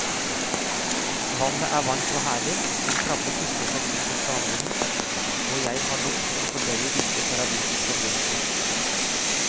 Vannet er varmt og herlig, en krabbe tusler forbi på sandbunnen, og jeg har nok med å fordøye disse paradisiske omgivelsene.